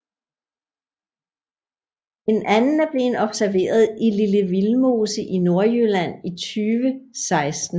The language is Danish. En anden er blevet observeret i Lille Vildmose i Nordjylland i 2016